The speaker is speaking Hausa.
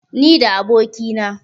ni da abokina